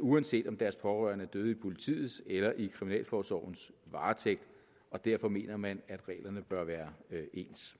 uanset om deres pårørende er døde i politiets eller i kriminalforsorgens varetægt og derfor mener man at reglerne bør være ens